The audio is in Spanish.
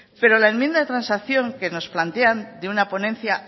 pero la enmienda de transacción que nos plantean de una ponencia